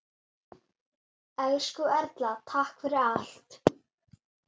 Elsku Erla, takk fyrir allt.